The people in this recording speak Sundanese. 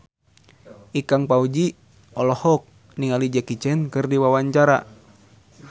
Ikang Fawzi olohok ningali Jackie Chan keur diwawancara